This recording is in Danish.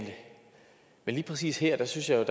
lige præcis her synes jeg at